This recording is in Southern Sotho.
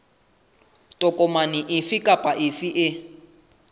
tokomane efe kapa efe e